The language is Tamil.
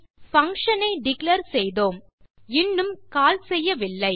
பங்ஷன் ஐ டிக்ளேர் செய்தோம் இன்னும் கால் செய்யவில்லை